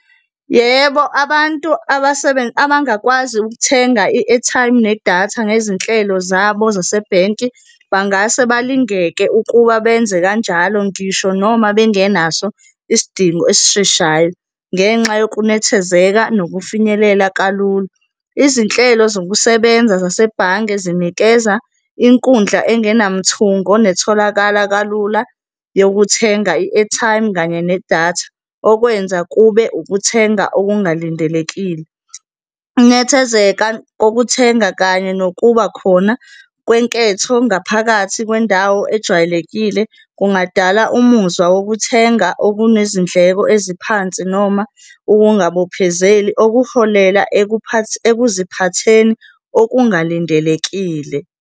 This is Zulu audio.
Yebo, abantu abangakwazi ukuthenga i-airtime nedatha ngezinhlelo zabo zasebhenki bangase balingeke ukuba benze kanjalo ngisho noma bengenaso isidingo esisheshayo, ngenxa yokunethezeka nokufinyelela kalula. Izinhlelo zokusebenza zasebhange zinikeza inkundla engenamthungo netholakala kalula yokuthenga i-airtime kanye nedatha okwenza kube ukuthenga okungalindelekile. Ukunethezeka kokuthenga kanye nokuba khona kwenketho ngaphakathi kwendawo ejwayelekile kungadala umuzwa wokuthenga okunezindleko eziphansi noma ukungabophezeli okuholela ekuziphatheni okungalindelekile.